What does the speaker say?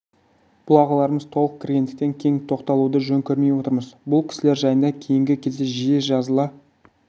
бұл ағаларымыз толық кіргендіктен кең тоқталуды жөн көрмей отырмыз бұл кісілер жайында кейінгі кезде жиі жазыла